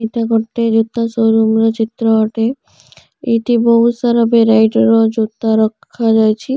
ଏଟା ଗୋଟେ ଜୋତା ଶୋରୁମ ର ଚିତ୍ର ଅଟେ। ଏଠି ବହୁତସାରା ଭେରାଇଟି ର ଜୋତା ରଖାଯାଇଛି।